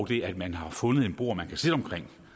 det at man har fundet et bord man kan sidde omkring